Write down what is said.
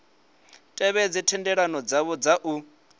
tevhedze thendelano dzavho dza u